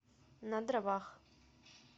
на дровах